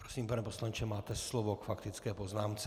Prosím, pane poslanče, máte slovo k faktické poznámce.